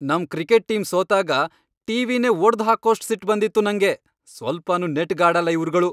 ನಮ್ cricket team ಸೋತಾಗ ಟಿ.ವಿ.ನೇ ಒಡ್ದ್ ಹಾಕೋಷ್ಟ್ ಸಿಟ್ಟ್ ಬಂದಿತ್ತು ನಂಗೆ, ಸ್ವಲ್ಪನೂ ನೆಟ್ಗ್ ಆಡಲ್ಲ ಇವ್ರ್ಗಳು.